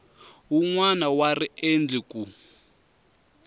wun wana wa riendli ku